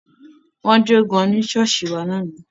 Wọ́n jo gan ní ṣọ́ọ̀ṣì wa lánàá.